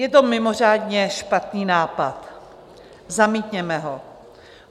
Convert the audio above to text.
Je to mimořádně špatný nápad, zamítněme ho.